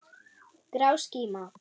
Grá skíma.